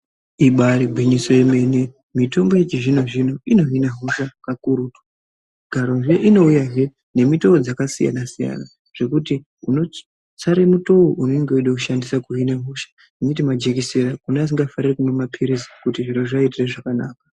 Ibari gwinyiso remene mitombo yechizvino-zvino inohina hosha kakurutu. Garozviya inouyahe nemitoo dzakasiyana-siyana, zvekuti unotsare mutoo vaunenge veida kushandisa kuhina hosha, kunyati majekisera kune vasingafariri kumwa mapiritsi kuti zviro zvivaitire zvakanaka.